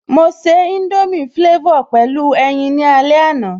Mo se indomie flavor pẹ̀lú ẹyin ní alẹ́ àná